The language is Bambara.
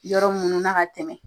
Yɔrɔ munun na ka tɛmɛ.